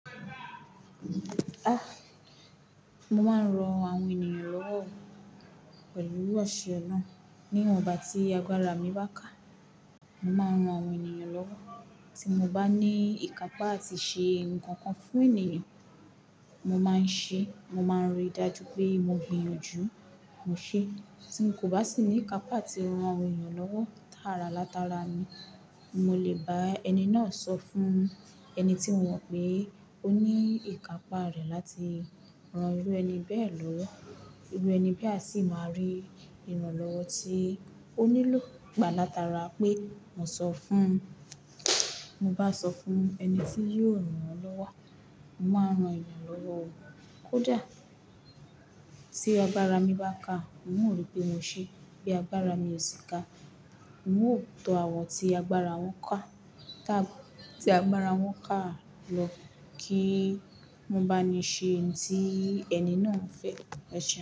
Ah! Mo máa ń ran àwọn ènìyàn lọ́wọ́ o, pẹ̀lú owó aṣẹ naa. Ní ìwọ̀n n bà tí agbára mi bá ká, mo máa ń ran àwọn ènìyàn lọ́wọ́. Tí mo bá ní ìkápá àti ṣe ǹkan kan fún ènìyàn, mo máa ń ṣe é. Mo máa ń rí i dájú pé mo gbiyanju, mo ṣe. Tí n kò bá sì ní ìkápá àti ran àwọn ènìyàn lọ́wọ́ tààrà látara mi, mo lè bá ẹni náà sọ fún ẹni tí mo mọ̀ pé ó ní ìkápá rẹ̀ láti ran irú ẹni bẹ́ẹ̀ lọ́wọ́. Irú ẹni bí a sì máa rí ìrànlọ́wọ́ tí ó nílò gbà látara pé mo sọ fún-- mo bá sọ fún ẹni tí yóò rán an lọ́wọ́. Mo máa ń ran ènìyàn lọ́wọ́ o, kódà-- tí agbára mi bá ká, un o ripé mo ṣe é. Bí agbára mi ò sì ká, n o tọ àwọ̀ tí agbára wọ́n ká. Tí agbára wọ́n ká a lọ, kí mo bá ni ṣe ǹ tí ẹni náà ń fẹ́ rẹ̀ ṣe.